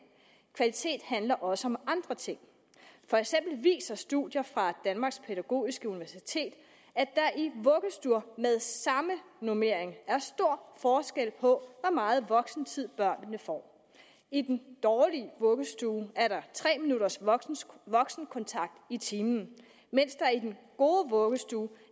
kvalitet handler også om andre ting for eksempel viser studier fra danmarks pædagogiske universitet at der i vuggestuer med samme normering er stor forskel på hvor meget voksentid børnene får i den dårlige vuggestue er der tre minutters voksenkontakt i timen mens der i den gode vuggestue